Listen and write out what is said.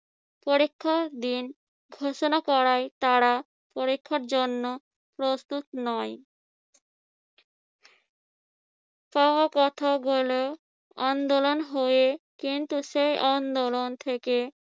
পরীক্ষা দিন ঘোষণা করায় তারা পরীক্ষার জন্য প্রস্তুত নয়। তাও কথা বলা আন্দোলন হয়ে, কিন্তু সেই আন্দোলন থেকে